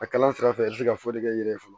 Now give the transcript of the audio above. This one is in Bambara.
A kalan sira fɛ i bɛ se ka fɔli kɛ i yɛrɛ ye fɔlɔ